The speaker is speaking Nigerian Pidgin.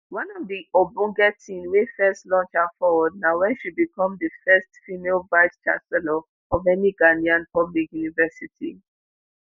one of di ogbonge tin wey first launch her forward na wen she become di first female vice chancellor of any ghanaian public university